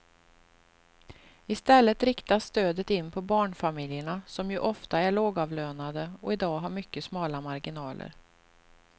I stället riktas stödet in på barnfamiljerna som ju ofta är lågavlönade och i dag har mycket smala marginaler.